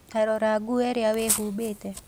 Ta rora nguo iria wĩhumbĩte.